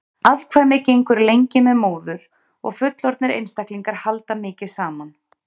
Afkvæmið gengur lengi með móður og fullorðnir einstaklingar halda mikið saman.